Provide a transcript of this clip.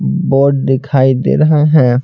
ब बोर्ड दिखाई दे रहा है।